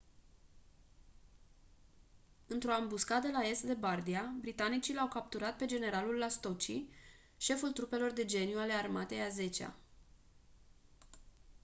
într-o ambuscadă la est de bardia britanicii l-au capturat pe generalul lastucci șeful trupelor de geniu ale armatei a zecea